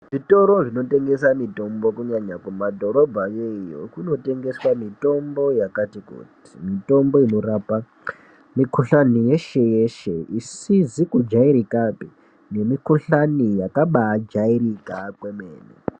Zvitoro zvinotengese mitombo kunyanya kumadhorobhayo iyo, kunotengeswe mitombo yakati kuti. Mitombo inorapa mikhuhlane yeshe yeshe isisizi kujairikapi nemukhuhlani yakabakairika kwemene.